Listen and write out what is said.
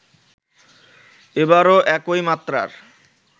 এবারও একই মাত্রার